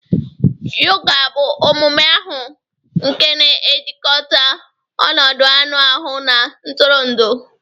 Yoga bụ omume ahụ nke na-ejikọta ọnọdụ anụ ahụ na ntụrụndụ